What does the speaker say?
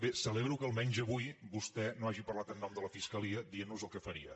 bé celebro que almenys avui vostè no hagi parlat en nom de la fiscalia dient nos el que faria